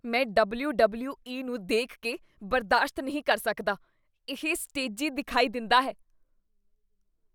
ਮੈਂ ਡਬਲਯੂ.ਡਬਲਯੂ.ਈ. ਨੂੰ ਦੇਖ ਕੇ ਬਰਦਾਸ਼ਤ ਨਹੀਂ ਕਰ ਸਕਦਾ। ਇਹ ਸਟੇਜੀ ਦਿਖਾਈ ਦਿੰਦਾ ਹੈ।